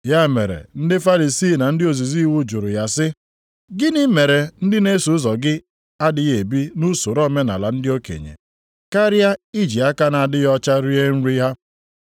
Ya mere ndị Farisii na ndị ozizi iwu jụrụ ya sị, “Gịnị mere ndị na-eso ụzọ gị adịghị ebi nʼusoro omenaala ndị okenye. Karịa iji aka na-adịghị ọcha rie nri ha?”